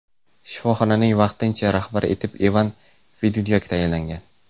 Shifoxonaning vaqtincha rahbari etib Ivan Fedunyak tayinlangan.